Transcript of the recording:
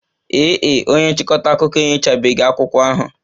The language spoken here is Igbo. Ee e, onye nchịkọta akụkọ enyochabeghị akwụkwọ ahụ